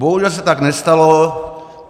Bohužel se tak nestalo.